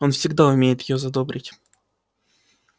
он всегда умеет её задобрить